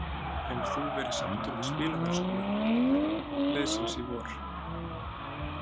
Hefur þú verið sáttur við spilamennskuna liðsins í vor?